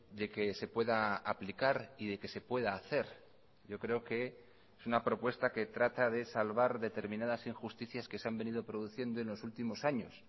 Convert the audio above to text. de que se pueda aplicar y de que se pueda hacer yo creo que es una propuesta que trata de salvar determinadas injusticias que se han venido produciendo en los últimos años